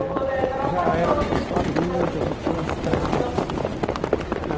Né Eu já era uma pessoa adulta, já tinha uma estrada assim de de.